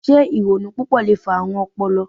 Se ironu pupọ le fa aarun ọpọlọ?